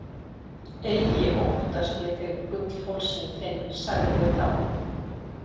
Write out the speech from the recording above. Eigi óttast ég þig, gullhálsinn þinn, sagði ég þá.